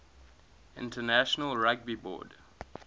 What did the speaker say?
international rugby board